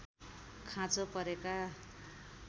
खाँचो परेका